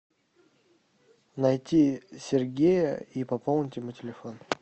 найти сергея и пополнить ему телефон